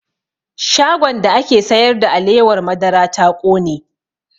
Shagon da ake sayar da alewar madara ta ƙone